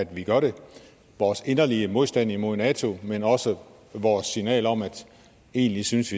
vi gør det vores inderlige modstand imod nato men også vores signal om at vi egentlig synes